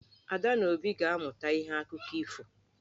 Ada na Obi ga-amụta ihe n'akụkọ ifo.